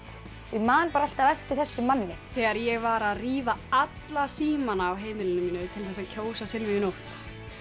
ég man bara alltaf eftir þessum manni þegar ég var að rífa alla símana á heimilinu mínu til þess að kjósa Silvíu Nótt